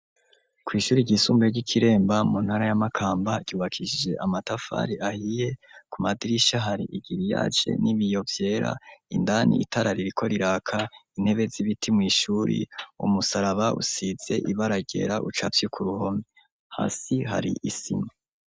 Kw' ishure ryisumbuye ry'ikiremba mu ntara yamakamba ryubakishije amatafari ahiye ku madirisha hari igiriyaje n'ibiyo vyera, indani itara ririko riraka intebe z'ibiti mw'ishuri umusaraba usitze ibara ryera ucafyeko kuruhome hasi hari isima.